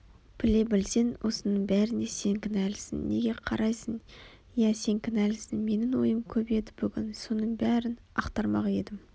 біле білсең осының бәріне сен кінәлісің неге қарайсың иә сен кінәлісің менің ойым көп еді бүгін соның бәрін ақтармақ едім